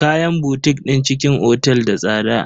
Kayan botik din cikin otel da tsada.